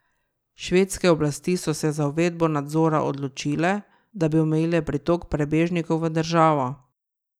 Švedske oblasti so se za uvedbo nadzora odločile, da bi omejile pritok prebežnikov v državo.